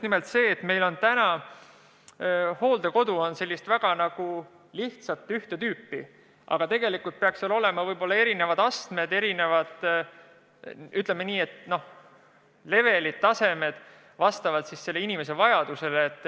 Praegu on meie hooldekodud sellised väga ühte tüüpi, aga tegelikult peaks ehk olema erinevad hooldusastmed või, ütleme, level'id vastavalt inimeste vajadusele.